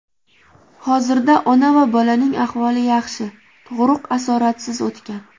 Hozirda ona va bolaning ahvoli yaxshi, tug‘ruq asoratsiz o‘tgan.